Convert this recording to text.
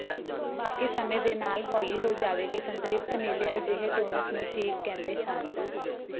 ਬਾਕੀ ਸਮੇਂ ਦੇ ਨਾਲ ਹੌਲੀ ਹੋ ਜਾਵੇਗੀ ਸੰਤ੍ਰਿਪਤ ਨੀਲੇ ਅਜਿਹੇ ਟੋਨਸ ਨੂੰ ਠੀਕ ਕਹਿੰਦੇ ਹਨ